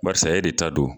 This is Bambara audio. Barisa e de ta don